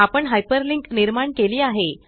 आपण हायपरलिंक निर्माण केली आहे